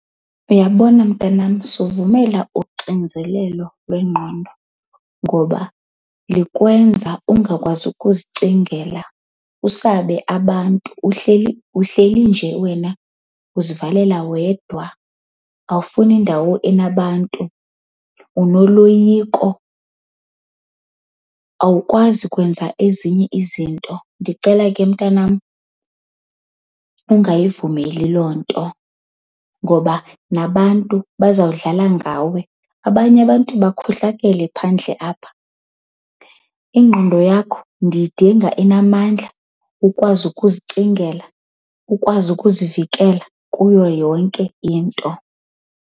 Uyabona mntanam, suvumela uxinzelelo lwengqondo ngoba likwenza ungakwazi ukuzicingela, usabe abantu. Uhleli uhleli nje wena uzivalela wedwa awufuni ndawo enabantu, unoloyiko, awukwazi kwenza ezinye izinto. Ndicela ke mntanam ungayivumeli loo nto ngoba nabantu bazawudlala ngawe. Abanye abantu bakhohlakele phandle apha. Ingqondo yakho ndiyidinga inamandla ukwazi ukuzicingela, ukwazi ukuzivikela kuyo yonke into.